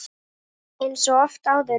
Eins og oft áður.